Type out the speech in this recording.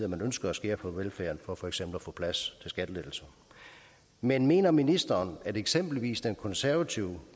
ønsker at skære på velfærden for for eksempel at få plads til skattelettelser men mener ministeren at eksempelvis den konservative